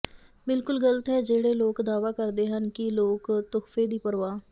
ਬਿਲਕੁਲ ਗਲਤ ਹੈ ਜਿਹੜੇ ਲੋਕ ਦਾਅਵਾ ਕਰਦੇ ਹਨ ਕਿ ਲੋਕ ਤੋਹਫ਼ੇ ਦੀ ਪਰਵਾਹ